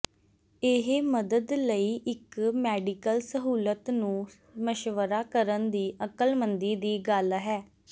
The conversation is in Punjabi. ਇਹ ਮਦਦ ਲਈ ਇਕ ਮੈਡੀਕਲ ਸਹੂਲਤ ਨੂੰ ਮਸ਼ਵਰਾ ਕਰਨ ਦੀ ਅਕਲਮੰਦੀ ਦੀ ਗੱਲ ਹੈ